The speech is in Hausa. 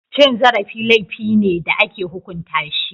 Cin zarafi laifi ne da ake hukunta shi.